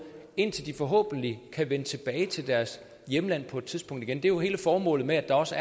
indtil de forhåbentlig kan vende tilbage til deres hjemland på et tidspunkt igen det er jo hele formålet med at der også